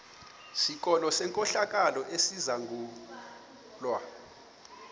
sikolo senkohlakalo esizangulwa